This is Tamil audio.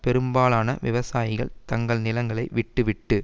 பெரும்பாலான விவசாயிகள் தங்கள் நிலங்களை விட்டு விட்டு